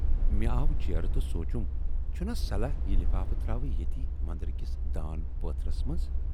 مےٚ آو جیرٕ تہٕ سوٗنچُم"چھُناہ صلاح یہِ لِفافہٕ تراوٕ ییتی مندرٕ کِس دان پاتھرس منز۔